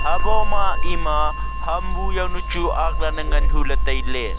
abo ma ema ham bu jaonu chu aklan ne ngan hu le taile.